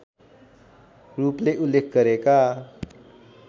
रूपले उल्लेख गरेका